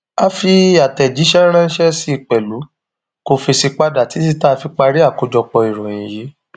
a fi àtẹjíṣẹ ránṣẹ sí i pẹlú kó fèsì padà títí tá a fi parí àkójọpọ ìròyìn yìí